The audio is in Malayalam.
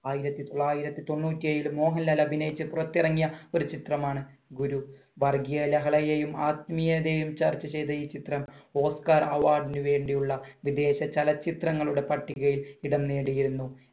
ആയിരത്തി തൊള്ളായിരത്തി തൊണ്ണൂറ്റി ഏഴിൽ മോഹൻലാൽ അഭിനയിച്ച പുറത്തിറങ്ങിയ ഒരു ചിത്രമാണ് ഗുരു. വർഗീയ ലഹളയെയും ആത്മീയതയും ചർച്ചചെയ്ത ഈ ചിത്രം oskar award നു വേണ്ടിയുള്ള വിദേശ ചലച്ചിത്രങ്ങളുടെ പട്ടികയിൽ ഇടം നേടിയിരുന്നു.